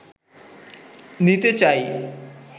নিতে চাই